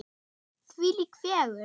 Þvílík fegurð.